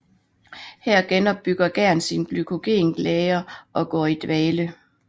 Her genopbygger gæren sine glykogenlagre og går i dvale